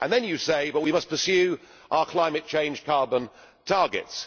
And then you say but we must pursue our climate change carbon targets.